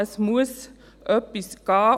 Es muss etwas geschehen.